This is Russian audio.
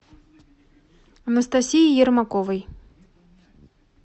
анастасии ермаковой